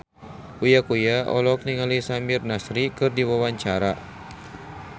Uya Kuya olohok ningali Samir Nasri keur diwawancara